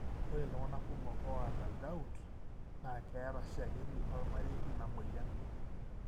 ore iltungana kumok oata "gout" na keeta shakeni olmarei ina moyian.